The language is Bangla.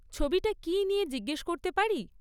ছবিটা কী নিয়ে জিজ্ঞেস করতে পারি?